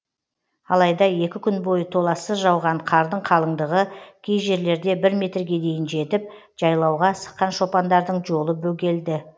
алайда екі күн бойы толассыз жауған қардың қалыңдығы кей жерлерде бір метрге дейін жетіп жайлауға асыққан шопандардың жолы бөгелді